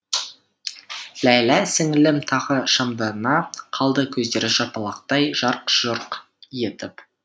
ләйлә сіңілім тағы шамдана қалды көздері жапалақтай жарқ жұрқ етіп